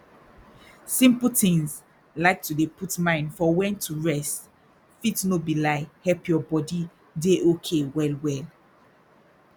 simple tins like to dey put mind for wen to rest fit no be lie help your body dey okay well well